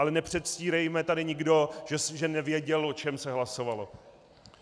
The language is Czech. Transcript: Ale nepředstírejme tady nikdo, že nevěděl, o čem se hlasovalo.